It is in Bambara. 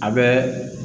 A bɛ